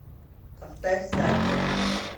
поставь сафиа